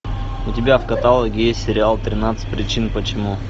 у тебя в каталоге есть сериал тринадцать причин почему